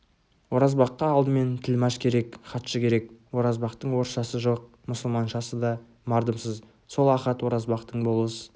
оразбаққа алдымен тілмаш керек хатшы керек оразбақтың орысшасы жоқ мұсылманшасы да мардымсыз сол ахат оразбақтың болыс